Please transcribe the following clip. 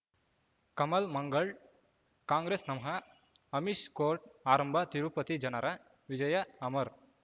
ಕಮಲ್ ಮಂಗಳ್ ಕಾಂಗ್ರೆಸ್ ನಮಃ ಅಮಿಷ್ ಕೋರ್ಟ್ ಆರಂಭ ತಿರುಪತಿ ಜನರ ವಿಜಯ ಅಮರ್